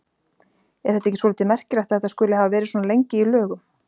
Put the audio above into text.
Er þetta ekki svolítið merkilegt að þetta skuli hafa verið svona lengi í lögum?